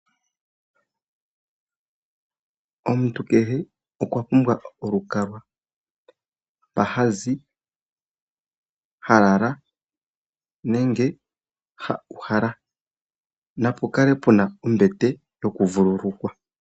Omuntu kehe okwa pumbwa olukalwa mpa ha zi, ha lala nenge ha uhala. Napu kale pu na ombete yokuvululukwa.